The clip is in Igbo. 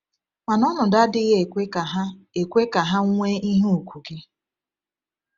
Mana ọnọdụ anaghị ekwe ka ha ekwe ka ha nwee ihe ùgwù gị.